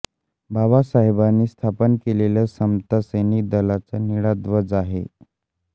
बाबासाहेबांनी स्थापन केलेल्या समता सैनिक दलाचा निळा ध्वज आहे